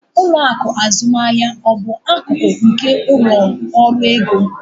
Ụlọ akụ azụmaahịa ọ bụ akụkụ nke ụlọ ọrụ ego?